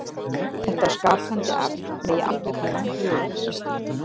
Þetta skapandi afl megi alveg kalla Guð.